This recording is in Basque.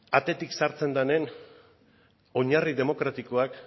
atetik sartzen denen oinarri demokratikoak